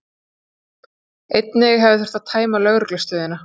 Einnig hefði þurft að tæma lögreglustöðina